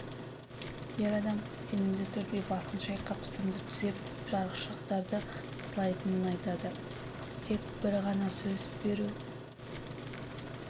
ер адам сенімді түрде басын шайқап сымды түзеп жарықшақтарды сылайтынын айтады тек бір ғана сөз беру